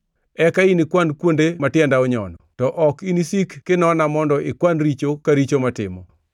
Eka inikwan kuonde matienda onyono to ok inisik kinona mondo ikwan richo ka richo matimo.